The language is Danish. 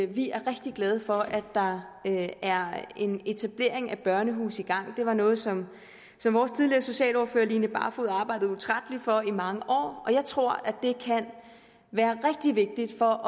vi er rigtig glade for at der er en etablering af børnehuse i gang det var noget som vores tidligere socialordfører line barfod arbejdede utrætteligt for i mange år og jeg tror det kan være rigtig vigtigt for